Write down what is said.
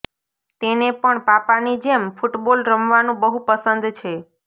તેને પણ પાપાની જેમ ફુટબોલ રમવાનું બહુ પસંદ છે